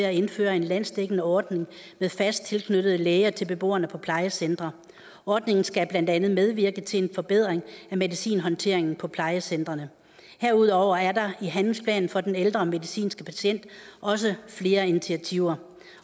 at indføre en landsdækkende ordning med fast tilknyttede læger til beboerne på plejecentre ordningen skal blandt andet medvirke til en forbedring af medicinhåndteringen på plejecentrene herudover er der i handlingsplanen for den ældre medicinske patient også flere initiativer